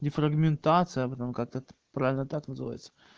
дефрагментация потом как-то правильно так называется